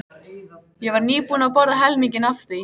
Ég var nýbúin að borða helminginn af því.